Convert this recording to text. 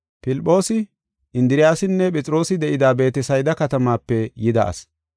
Filphoosi, Indiriyasinne Phexroosi de7ida Beetesayda katamaape yida ase.